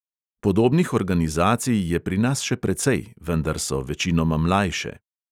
Podobnih organizacij je pri nas še precej, vendar so večinoma mlajše.